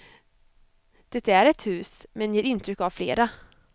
Det är ett hus, men ger intryck av flera.